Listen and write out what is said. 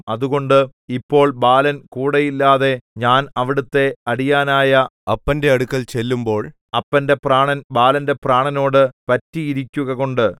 അതുകൊണ്ട് ഇപ്പോൾ ബാലൻ കൂടെയില്ലാതെ ഞാൻ അവിടത്തെ അടിയാനായ അപ്പന്റെ അടുക്കൽ ചെല്ലുമ്പോൾ അപ്പന്റെ പ്രാണൻ ബാലന്റെ പ്രാണനോടു പറ്റിയിരിക്കുകകൊണ്ട്